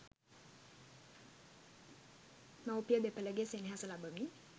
මවුපිය දෙපළගේ සෙනෙහස ලබමින්